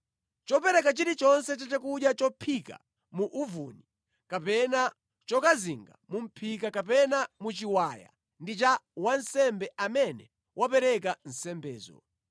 Chopereka chilichonse cha chakudya chophika mu uvuni kapena chokazinga mu mʼphika kapena mu chiwaya ndi cha wansembe amene wapereka nsembezo.